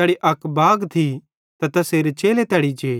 तैड़ी अक बाग थी तै ते तैसेरे चेले तैड़ी जे